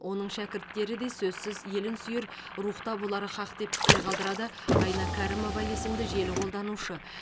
оның шәкірттері де сөзсіз елін сүйер рухта болары һақ деп пікір қалдырады айна кәрімова есімді желі қолданушы